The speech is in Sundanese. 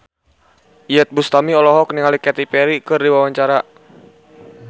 Iyeth Bustami olohok ningali Katy Perry keur diwawancara